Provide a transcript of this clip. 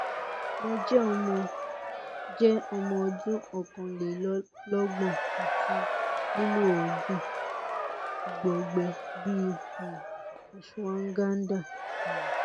mo jẹ́ ọmọ jẹ́ ọmọ ọdún ọ̀kànlélọ́gbọ̀n àti lílo oògùn igbọọgbẹ bíi um ashwagandha um